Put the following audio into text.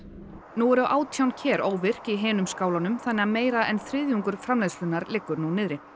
nú eru átján ker óvirk í hinum skálunum þannig að meira en þriðjungur framleiðslunnar liggur nú niðri